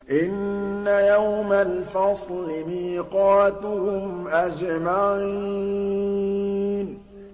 إِنَّ يَوْمَ الْفَصْلِ مِيقَاتُهُمْ أَجْمَعِينَ